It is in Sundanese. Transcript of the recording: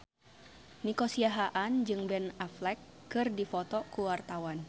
Nico Siahaan jeung Ben Affleck keur dipoto ku wartawan